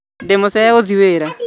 Ndĩmucerere gũthii wĩra